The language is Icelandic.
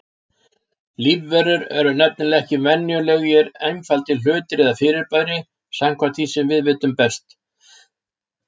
Lífverur eru nefnilega ekki venjulegir einfaldir hlutir eða fyrirbæri, samkvæmt því sem við vitum best.